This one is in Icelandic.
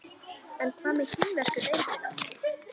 En hvað með kínversku deildina?